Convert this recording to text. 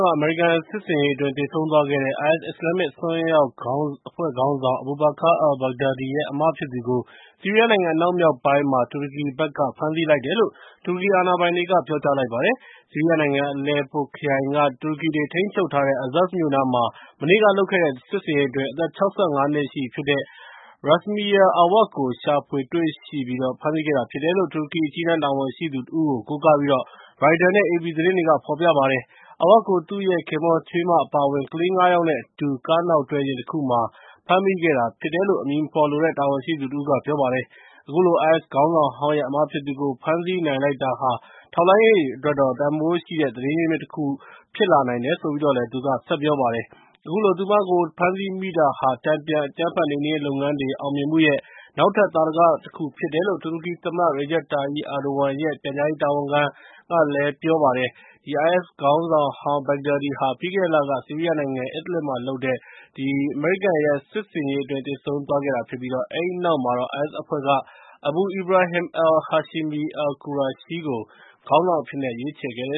က အမေရိကန်စစ်ဆင်ရေးအတွင်း သေဆုံးသွားတဲ့ IS အစ္စလာမ်မစ် အစွန်းရောက်အဖွဲ့ခေါင်းဆောင် Abu Bakr al-Baghdadi ရဲ့ အစ်မဖြစ်သူကို ဆီးရီးယားနိုင်ငံ အနောက်မြောက်ပိုင်းမှာ တူရကီနိုင်ငံဘက်က ဖမ်းဆီးလိုက်တယ်လို့ တူရကီအာဏာပိုင်တွေက ပြောပါတယ်။ ဆီရီးယားနိုင်ငံ အလယ်ပိုခရိုင်က တူရကီတွေထိန်းချုပ်ထားတဲ့ Azaz မြို့နားမှာ မနေ့က လုပ်ခဲ့တဲ့ စစ်ဆင်ရေးအတွင်း အသက် ၆၅ နှစ်ရှိ ပြီဖြစ်တဲ့ Rasmiya Awad ကို ရှာဖွေတွေ့ရှိပြီး ဖမ်းဆီးခဲ့တာဖြစ်တယ်လို့ တူရကီအကြီးတန်းတာဝန်ရှိသူ တဦးကို ကိုးကားပြီး ရိုက်တာနဲ့ အေပီ သတင်းဌာနက ဖော်ပြပါတယ်။ Awad ကို သူရဲ့ခင်ပွန်း၊ ချွေးမ အပါအဝင် ကလေး ၅ ယောက် နဲ့ အတူ ကားနောက်တွဲယာဉ်တခုမှာ ဖမ်းဆီးမိခဲ့တာဖြစ်တယ်လို့ အမည်မဖော်လိုတဲ့ တာဝန်ရှိသူ တဦးက ပြောပါတယ်။ အခုလို IS ခေါင်းဆောင်ဟောင်းရဲ့ အစ်မဖြစ်သူကို ဖမ်းဆီးနိုင်လိုက်တာဟာ ထောက်လှမ်းရေးအတွက်တော့ တန်ဖိုးရှိတဲ့ သတင်းရင်းမြစ် တခု ဖြစ်လာနိုင်တယ်လို့လည်း သူက ပြောပါတယ်။ အခုလို သူမကို ဖမ်းဆီးမိတာဟာ တန်ပြန် အကြမ်းဖက်နှိမ်နှင်းရေးလုပ်ငန်းတွေ အောင်မြင်မှုရဲ့ နောက်ထပ်သာဓက တခုဖြစ်တယ်လို့ တူရကီသမ္မတ Recep Tayyip Erdogan ရဲ့ ပြန်ကြားရေးတာဝန်ခံ Fahretting Altun က ပြောပါတယ်။ IS ခေါင်းဆောင်ဟောင်း Badgdadi ဟာ ပြီးခဲ့တဲ့လက ဆီးရီးယားနိုင်ငံ Idlib မှာလုပ်တဲ့ အမေရိကန်ရဲ့ စစ်ဆင်ရေးအတွင်း သေဆုံးသွားခဲ့ပြီး အဲဒီနောက်မှာတော့ IS အဖွဲ့က Abu Ibrahim al-Hashemi al-Qurayshi ကို ခေါင်းဆောင်အဖြစ်နဲ့ ရွေးချယ်ခဲ့ပါတယ